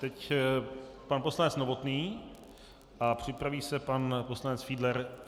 Teď pan poslanec Novotný a připraví se pan poslanec Fiedler.